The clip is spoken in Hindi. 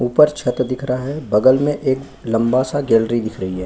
ऊपर छत दिख रहा है बगल में एक लंबा सा गैलरी दिख रही है।